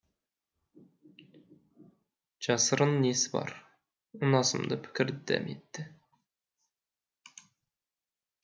жасырын несі бар ұнасымды пікір дәметті